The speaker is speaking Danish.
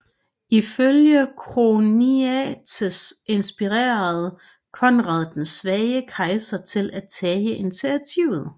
Ifølge Choniates inspirerede Konrad den svage kejser til at tage initiativet